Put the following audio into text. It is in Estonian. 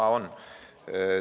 Aa on!